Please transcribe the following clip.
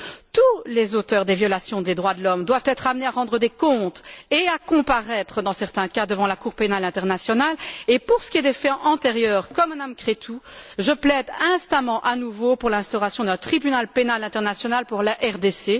Tous les auteurs des violations des droits de l'homme doivent être amenés à rendre des comptes et à comparaître, dans certains cas, devant la Cour pénale internationale et, pour ce qui est des faits antérieurs, comme Mme Creţu, je plaide instamment, à nouveau, pour l'instauration d'un tribunal pénal international pour la RDC.